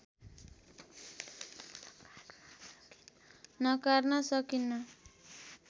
नकार्न सकिन्न